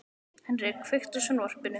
Henrik, kveiktu á sjónvarpinu.